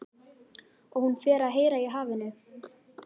Og hún fer að heyra í hafinu.